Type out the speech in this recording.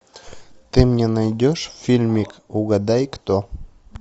ты мне найдешь фильмик угадай кто